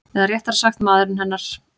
Eða réttara sagt maðurinn hennar.